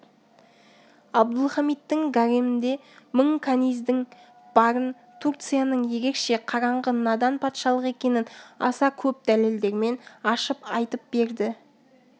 абдұлхамиттің гаремінде мың каниздің барын турцияның өзгеше қараңғы надан патшалық екенін аса көп дәлелдермен ашып айтып берді